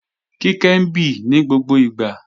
Kíkẹ́ ń bì ní gbogbo ìgbà